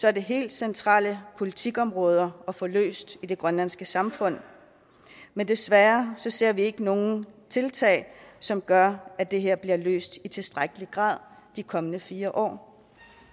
er det helt centrale politikområder at få løst i det grønlandske samfund men desværre ser vi ikke nogen tiltag som gør at det her bliver løst i tilstrækkelig grad de kommende fire år